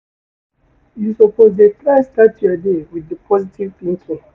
You suppose dey try start your day wit di positive thinking.